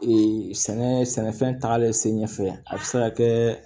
sɛnɛ sɛnɛfɛn tagalen sen ɲɛ fɛ a bɛ se ka kɛ